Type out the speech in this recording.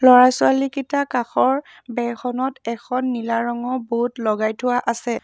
ল'ৰা ছোৱালীকিটা কাষৰ বেৰ খনত এখন নীলা ৰঙৰ বড বোৰ্ড লগাই থোৱা আছে।